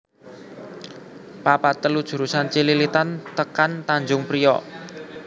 papat telu jurusan Cililitan tekan Tanjung Priok